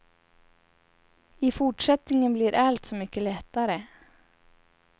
I fortsättningen blir allt så mycket lättare.